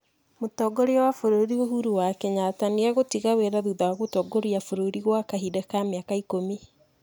Mũtongoria wa bũrũri Uhuru wa Kenyatta nĩ egũtiga wĩra thutha wa gũtongoria bũrũri gwa kahinda ka mĩaka ikũmi.